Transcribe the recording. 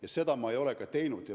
Ja seda ma ei olegi teinud.